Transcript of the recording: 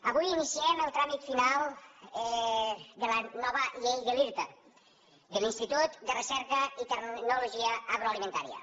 avui iniciem el tràmit final de la nova llei de l’irta de l’institut de recerca i tecnologia agroalimentària